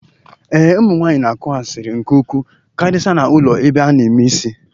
Ee, ụmụ nwaanyị na-akụ asịrị nke ukwuu karịsịa na ụlọ ebe a na-eme isi